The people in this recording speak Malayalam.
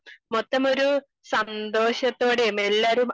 മൊത്തം സന്തോഷത്തോടെയും എല്ലാരും